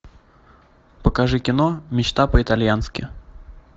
покажи кино мечта по итальянски